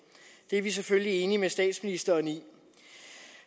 det er vi selvfølgelig enige med statsministeren i